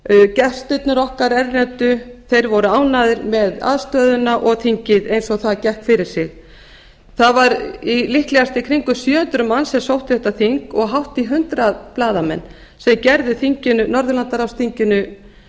gestirnir okkar erlendu voru ánægðir með aðstöðuna og þingið eins og það gekk fyrir sig það var líklegast í kringum sjö hundruð manns sem sóttu þetta þing og hátt í hundrað blaðamenn sem gerði norðurlandaráðsþinginu